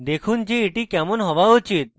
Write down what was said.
দেখুন যে এটি কেমন হওয়া উচিত